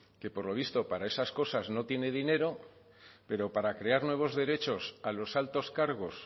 que por lo visto para esas cosas no tiene dinero pero para crear nuevos derechos a los altos cargos